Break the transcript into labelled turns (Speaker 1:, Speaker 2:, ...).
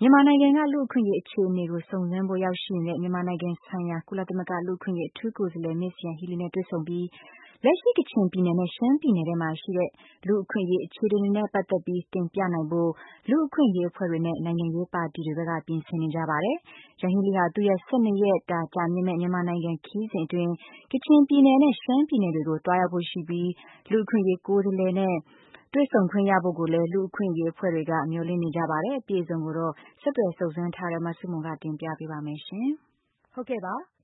Speaker 1: မြန်မာနိုင်ငံက လူ့အခွင့်အရေးအခြေအနေတွေကို လာရောက်စုံစမ်းဖို့ရောက်ရှိ နေတဲ့ မြန်မာနိုင်ငံ ဆိုင်ရာ ကုလသမဂ္ဂ လူ့အခွင့်အရေး အထူးကိုယ်စားလှယ် မစ်ယန်ဟီးလီနဲ့ တွေ့ဆုံပြီး လက်ရှိ ကချင်ပြည်နယ်နဲ့ ရှမ်းပြည်နယ်ထဲမှာ ရှိတဲ့ လူ့အခွင့်အရေးအခြေအနေတွေနဲ့ပတ်သက်ပြီး တင်ပြနိုင်ဖို့ လူ့အခွင့်အရေးအဖွဲ့တွေနဲ့ နိုင်ငံရေးပါတီတွေဘက်က ပြင်ဆင်နေကြပါတယ်။ ယန်ဟီလီဟာ သူ့ရဲ့ ၁၂ရက်တာကြာမြင့်မယ့် မြန်မာပြည် ခရီးစဉ်အတွင်း ကချင်ပြည်နယ်နဲ့ ရှမ်းပြည်နယ်တွေကို သွားရောက်ဖို့ရှိပြီး လူ့အခွင့်အရေး ကိုယ်စားလှယ်နဲ့တွေ့ဆုံခွင့်ရဖို့ကိုလည်း လူ့အခွင့်အရေးအဖွဲ့တွေက မျှော်လင့်နေကြပါတယ်။ ဆက်သွယ်စုံစမ်းထားတဲ့ မဆုမွန် တင်ပြပေးပါမယ်။